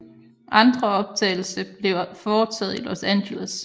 Andre optagelse blev foretagt i Los Angeles